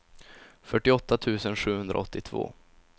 fyrtioåtta tusen sjuhundraåttiotvå